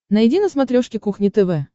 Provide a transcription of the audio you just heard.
найди на смотрешке кухня тв